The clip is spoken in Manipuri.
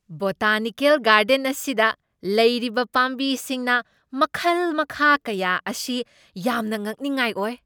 ꯕꯣꯇꯥꯅꯤꯀꯦꯜ ꯒꯥꯔꯗꯦꯟ ꯑꯁꯤꯗ ꯂꯩꯔꯤꯕ ꯄꯥꯝꯕꯤ ꯁꯤꯡꯅꯥ ꯃꯈꯜ ꯃꯈꯥ ꯀꯌꯥ ꯑꯁꯤ ꯌꯥꯝꯅ ꯉꯛꯅꯤꯡꯉꯥꯏ ꯑꯣꯏ꯫